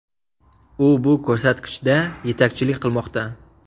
U bu ko‘rsatkichda yetakchilik qilmoqda.